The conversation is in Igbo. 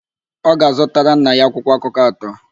Ọ ga-azụtara nna ya akwụkwọakụkọ atọ.